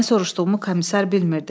Nə sorduğumu komissar bilmirdi.